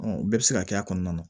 o bɛɛ bɛ se ka kɛ a kɔnɔna na